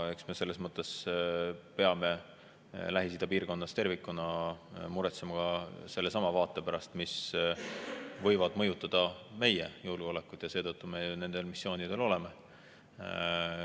Eks me selles mõttes peame Lähis-Ida piirkonnas tervikuna muretsema ka sellesama vaate pärast, mis võib mõjutada meie julgeolekut, ja seetõttu me nendel missioonidel oleme.